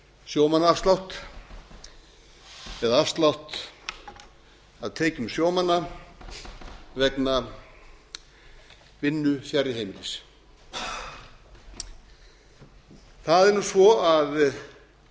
sjómannaafslátt eða afslátt af tekjum sjómanna vegna vinnu fjarri heimilis það er nú svo að það